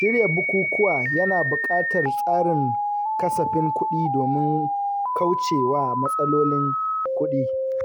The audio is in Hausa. Shirya bukukuwa yana buƙatar tsarin kasafin kuɗi domin kauce wa matsalolin kuɗi.